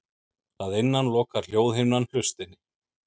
Að innan lokar hljóðhimnan hlustinni.